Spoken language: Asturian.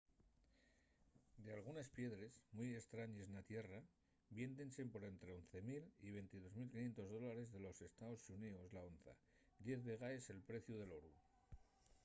dalgunes piedres mui estrañes na tierra viéndense por ente 11 000 y 22 500 dólares de los estaos xuníos la onza diez vegaes el preciu del oru